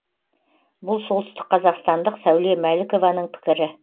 бұл солтүстік қазақстандық сәуле мәлікованың пікірі